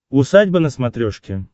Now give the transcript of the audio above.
усадьба на смотрешке